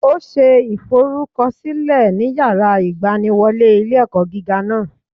Ó ṣe ìforúkọsílẹ ní yàrá ìgbaniwọlé ilé ẹkọ gíga náà